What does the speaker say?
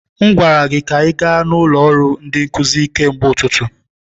M gwara gị ka ị gaa n'ụlọ ọrụ ndi nkuzi kemgbe ụtụtụ.